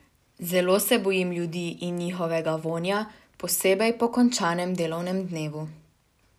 Zelo se bojim ljudi in njihovega vonja, posebej po končanem delovnem dnevu.